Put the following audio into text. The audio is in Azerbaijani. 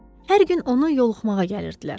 Hər gün onu yoxlamağa gəlirdilər.